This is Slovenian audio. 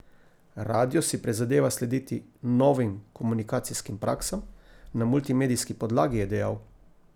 Radio si prizadeva slediti novim komunikacijskim praksam na multimedijski podlagi, je dejal.